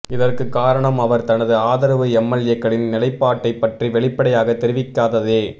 இதற்கு காரணம் அவர் தனது ஆதரவு எம்எல்ஏக்களின் நிலைப்பாட்டை பற்றி வெளிப்படையாக தெரிவிக்காததே